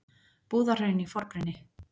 Búðahraun í forgrunni.